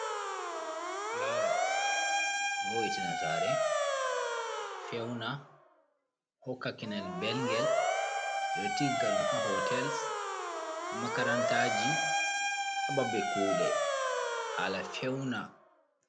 Fulawar ɗo vo'itina sare, feuna, hokka kinel belgel, ɓe ɗo tigga ɗum ha hotel, ha makaranta ji, ha babe kuɗe hala feuna.